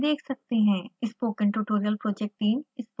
अच्छी bandwidth न मिलने पर आप इसे download करके देख सकते हैं